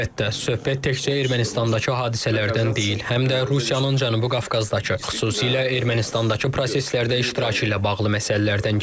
Əlbəttə, söhbət təkcə Ermənistandakı hadisələrdən deyil, həm də Rusiyanın Cənubi Qafqazdakı, xüsusilə Ermənistandakı proseslərdə iştirakı ilə bağlı məsələlərdən gedir.